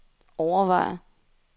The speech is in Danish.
overvejer